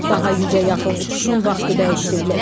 Daha 100-ə yaxın uçuşun vaxtı dəyişdirilib.